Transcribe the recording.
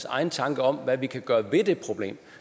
egne tanker om hvad vi kan gøre ved det problem